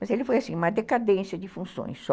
Mas ele foi assim, uma decadência de funções só.